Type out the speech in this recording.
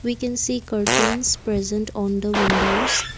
We can see curtains present on the windows.